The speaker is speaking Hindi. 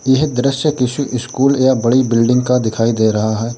यह दृश्य किसी स्कूल या बड़ी बिल्डिंग का दिखाई दे रहा है।